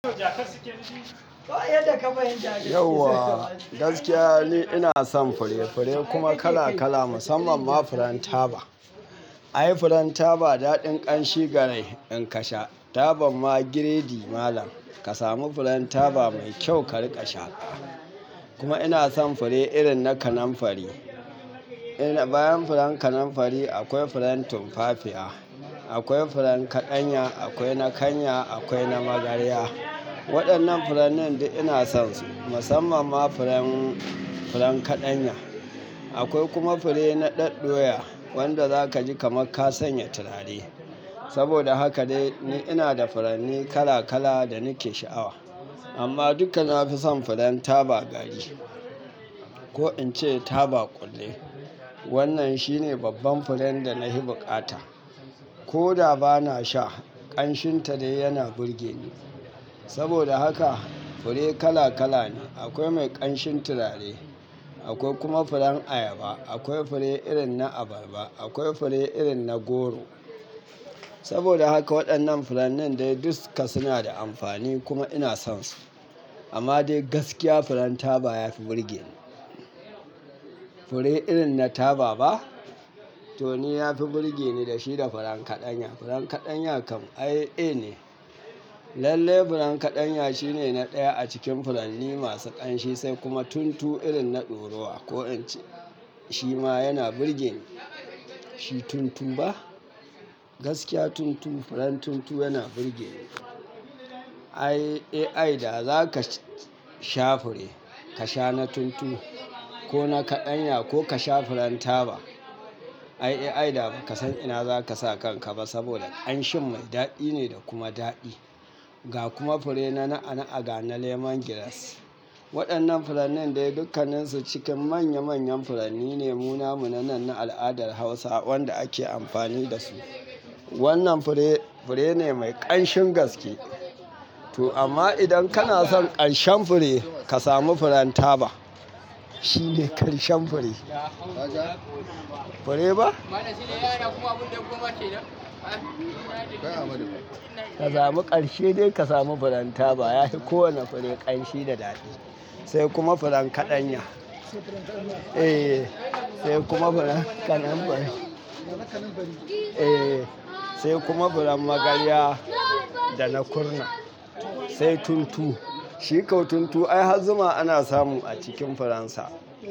Yau wa, gaskiya ne ina son fure. Fure kuma kala kala, musamman ma furen taba. Ai furen taba daɗin ƙanshi garai in ka sha. Tabar ma giredi malam. Ka samu furen taba mai kyau ka rika shaƙa. Kuma ina son fure irin na kananfari. Bayan furen kananfari akwai furen tumfafiya, akwai furen kaɗanya, akwai na kanya, akwai na magarya. Waɗannan furannin duk ina son su, musamman ma furen kaɗanya. Akwai kuma fure na ɗaɗdoya wanda zaka ji kamar ka sanya turare. Saboda haka dai ni ina da furanni kala kala da nake sha'awa. Amma duka na fi son furen taba gari ko in ce taba kulle. Wannan shine babban furen da na fi bukata. Ko da ba na sha, ƙanshinta dai yana burge ni. Saboda haka fure kala kala ne. Akwai mai ƙanshin turare, akwai kuma furen ayaba, akwai fure irin na abarba, akwai fure irin na goro. Saboda haka waɗannan furannin dai dukka suna da amfani kuma ina son su. Amma dai gaskiya furen taba ya fi burge ni. Fure irin na taba ba? To ni ya fi burge ni da shi da furen kaɗanya. Furen kaɗanya kam ai, eh ne. Lalle furen kaɗanya shine na ɗaya a cikin furanni masu ƙanshi sai kuma tuntu irin na ɗoruwa ko in ce shi ma yana burge ni. Shi tuntu ba? Gaskiya tuntu, furen tuntu yana burge ni. Ai, AI da zaka sha fure, ka sha na tuntu ko na kaɗanya ko ka sha furen taba. Ai, AI da ba ka san ina zaka sa kanka ba saboda ƙanshin mai daɗi ne da kuma daɗi. Ga kuma fure na na'a na'a ga na lemongrass. Waɗannan furannin dai dukkannisu cikin manya manyan furanni ne, mu namu nanan na al'adar Hausa wanda ake amfani da su. Wannan fure, fure ne mai ƙanshin gaske. To amma idan kana son ƙarshen fure, ka samu furen taba. Shi ne ƙarshen fure. Fure ba? Ka samu ƙanshi dai ka samu furen taba. Ya fi kowane fure ƙanshi da daɗi. Sai kuma furen kaɗanya. Sai furen kaɗanya. Eh, sai kuma furen kanamfari. Furen kanamfari. Eh, sai kuma furen magarya da na kurna. Sai tuntu. Shi kau tuntu ai har zuma ana samu a cikin furen sa.